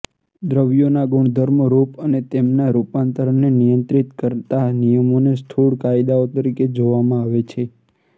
દ્રવ્યોના ગુણધર્મો રૂપ અને તેમના રૂપાંતરને નિયંત્રિત કરતા નિયમોને સ્થૂળ કાયદાઓ તરીકે જોવામાં આવે છે